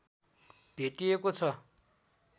भेटिइएको छ